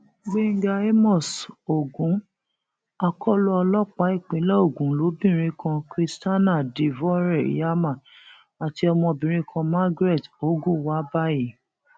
gbẹngà àmos ogun akọlọ ọlọpàá ìpínlẹ ogun lobìnrin kan christiana divoire iyama àti ọmọbìnrin kan margaret ogwu wà báyìí